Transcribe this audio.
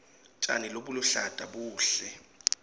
tjani lobuluhlata buhle